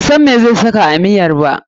Bai san meh zai saka a miyan ba.